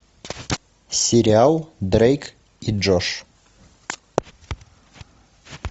сериал дрейк и джош